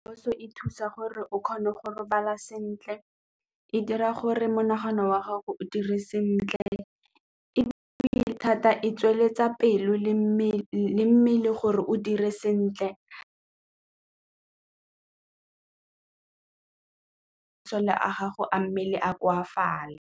Puso e thusa gore o kgone go robala sentle, e dira gore monagano wa gago o dire sentle ebile thata e tsweletsa pelo le mmele gore o dire sentle masole a gago a mmele a koafale.